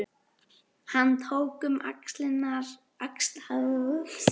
Hann tók um axlir Birnu Eyglóar